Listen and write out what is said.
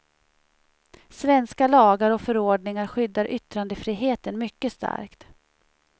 Svenska lagar och förordningar skyddar yttrandefriheten mycket starkt.